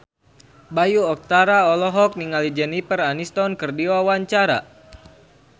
Bayu Octara olohok ningali Jennifer Aniston keur diwawancara